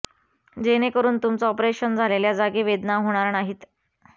जेणेकरून तुमचं ऑपरेशन झालेल्या जागी अधिक वेदना होणार नाहीत